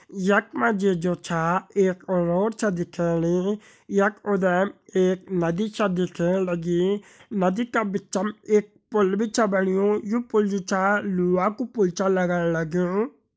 यख मा जु छा एक रोड छ दिखेणी यख उधम एक नदी छे दिखेण लगी नदी का बिच्च मा एक पुल भी छ बण्यु यु पुल जु छा लुहा का पुल छ लग्ण लग्युं।